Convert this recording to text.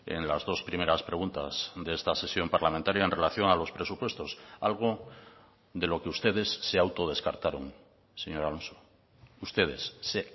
en las dos primeras preguntas de esta sesión parlamentaria en relación a los presupuestos algo de lo que ustedes se auto descartaron señor alonso ustedes se